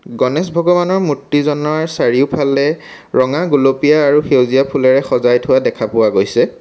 গণেশ ভগবানৰ মূৰ্ত্তিজনৰ চাৰিওফালে ৰঙা গুলপীয়া আৰু সেউজীয়া ফুলেৰে সজাই থোৱা দেখা পোৱা গৈছে।